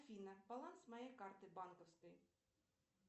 афина баланс моей карты банковской